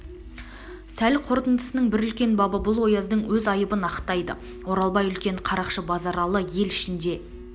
сол қортындысының бір үлкен бабы бұл ояздың өз айыбын ақтайды оралбай үлкен қарақшы базаралы ел ішіндегі